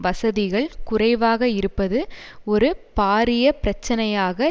வசதிகள் குறைவாக இருப்பது ஒரு பாரிய பிரச்சினையாக